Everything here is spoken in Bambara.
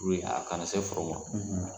Purike a kana se foro ma .